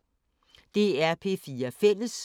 DR P4 Fælles